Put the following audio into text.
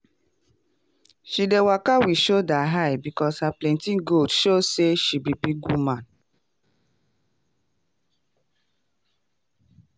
she dey walk with shoulder high because her plenty goat show say she be big woman.